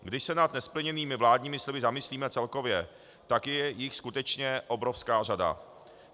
Když se nad nesplněnými vládními sliby zamyslíme celkově, tak je jich skutečně obrovská řada.